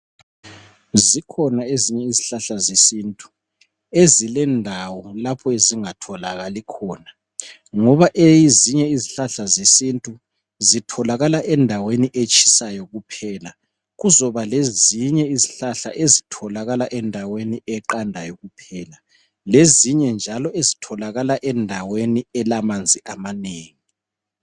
Zikhona ezinye izihlahla zesiNtu ezilendawo lapho ezingatholakali khona ngoba ezinye izihlahla zesiNtu zitholakala endaweni etshisayo kuphela. Kuzoba lezinye izihlahla ezitholakala endaweni eqandayo kuphela lezinye njalo ezitholakala endaweni elamanzi amanengi.